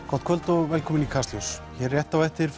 gott kvöld og velkomin í Kastljós hér rétt á eftir